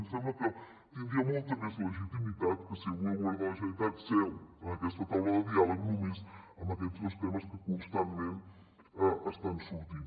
ens sembla que tindria molta més legitimitat que si avui el govern de la generalitat seu en aquesta taula de diàleg només amb aquests dos temes que constantment estan sortint